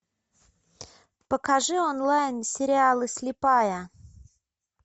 покажи онлайн сериалы слепая